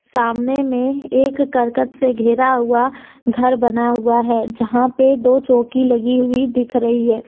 सामने में एक करकट से घेरा हुआ घर बना हुआ है जहां पे दो चौकी लगी हुई दिख रही है।